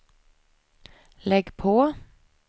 lägg på